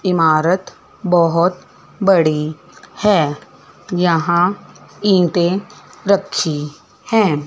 इमारत बहोत बड़ी है यहां ईंटें रखी है।